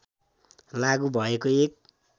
लागू भएको एक